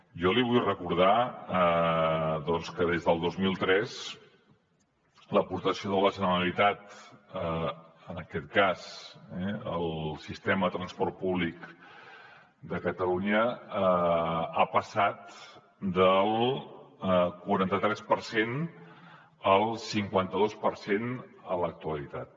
jo li vull recordar doncs que des del dos mil tres l’aportació de la generalitat en aquest cas eh al sistema de transport públic de catalunya ha passat del quaranta tres per cent al cinquanta dos per cent a l’actualitat